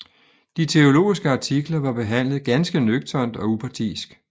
De teologiske artikler var behandlet ganske nøgternt og upartisk